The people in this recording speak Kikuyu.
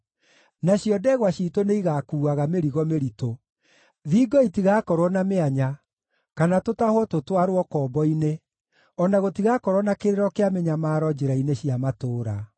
nacio ndegwa ciitũ nĩigakuuaga mĩrigo mĩritũ. Thingo itigakorwo na mĩanya, kana gũtahwo tũtwarwo ũkombo-inĩ, o na gũtigakorwo na kĩrĩro kĩa mĩnyamaro njĩra-inĩ cia matũũra.